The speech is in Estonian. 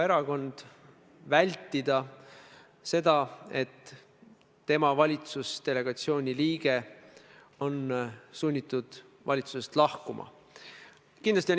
Edasi, kui rääkida prokuratuurist – ma olen teiega selles mõttes täiesti ühel joonel, et prokuratuuri poliitilist sõltumatust tuleb kaitsta.